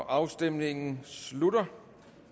afstemningen slutter